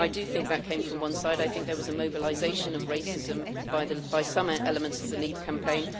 I do think that came from one side. I think there was a mobilisation of racism by some elements of the Leave campaign.